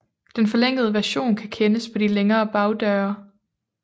Den forlængede version kan kendes på de længere bagdøre